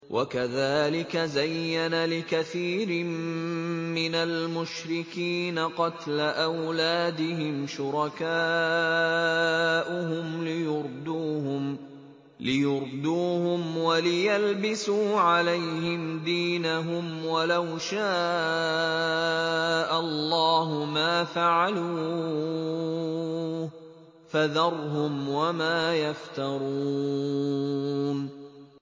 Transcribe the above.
وَكَذَٰلِكَ زَيَّنَ لِكَثِيرٍ مِّنَ الْمُشْرِكِينَ قَتْلَ أَوْلَادِهِمْ شُرَكَاؤُهُمْ لِيُرْدُوهُمْ وَلِيَلْبِسُوا عَلَيْهِمْ دِينَهُمْ ۖ وَلَوْ شَاءَ اللَّهُ مَا فَعَلُوهُ ۖ فَذَرْهُمْ وَمَا يَفْتَرُونَ